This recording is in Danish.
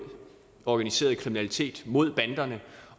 organiseret kriminalitet mod banderne